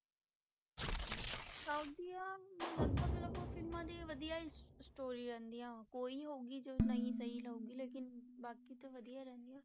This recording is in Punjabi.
South ਦੀਆਂ ਲਗਪਗ ਲਗਪਗ ਫਿਲਮਾਂ ਦੀ ਵਧੀਆ ਹੀ story ਰਹਿੰਦੀਆਂ ਵਾਂ ਕੋਈ ਹੀ ਹੋਊਗੀ ਜੋ ਨਹੀਂ ਸਹੀ ਹੋਊਗੀ ਲੇਕਿੰਨ ਬਾਕੀ ਤੇ ਵਧੀਆ ਰਹਿੰਦੀਆਂ,